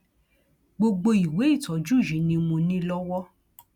gbogbo ìwé ìtọjú yìí ni mo ní lọwọ